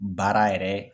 Baara yɛrɛ